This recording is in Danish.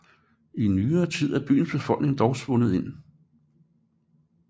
I nyere tid er byens befolkning dog svundet ind